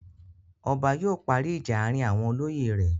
Ọba yóò parí ìjà àárín àwọn olóyè rẹ̀.